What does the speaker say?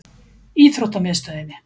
Íþróttamiðstöðinni